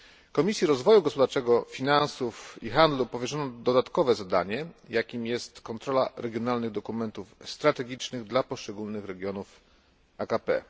Komisji Rozwoju Gospodarczego, Finansów i Handlu powierzono dodatkowe zadanie, jakim jest kontrola regionalnych dokumentów strategicznych dla poszczególnych regionów AKP.